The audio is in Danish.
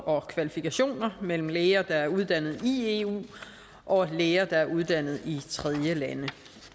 og kvalifikationer mellem læger der er uddannet i eu og læger der er uddannet i tredjelande